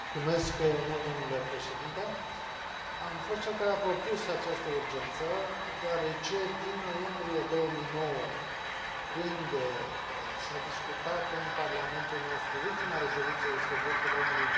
Am fost cel care a propus această urgență, deoarece din noiembrie 2009, când s a discutat în parlamentul nostru ultima rezoluție despre drepturile omului în Vietnam, situația nu s a îmbunătățit deloc.